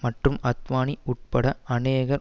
மற்றும் அத்வானி உட்பட அநேகர்